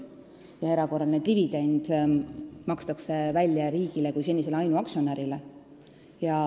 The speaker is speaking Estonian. See erakorraline dividend makstakse välja riigile kui senisele ainuaktsionärile.